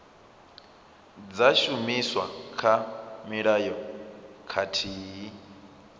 dza shumiswa kha mulayo khathihi